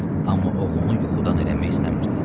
Amma oğlunu yuxudan eləmək istəmirdi.